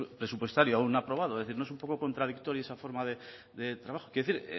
presupuestario aún no aprobado es decir no es un poco contradictoria esa forma de trabajo quiero decir